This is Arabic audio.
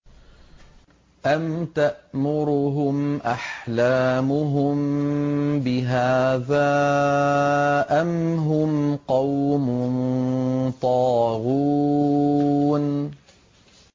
أَمْ تَأْمُرُهُمْ أَحْلَامُهُم بِهَٰذَا ۚ أَمْ هُمْ قَوْمٌ طَاغُونَ